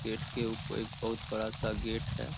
Gate के ऊप एक बहुत बड़ा सा गेट है।